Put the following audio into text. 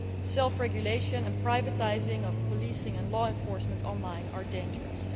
Self regulation and privatising of policing and law enforcement on line are dangerous.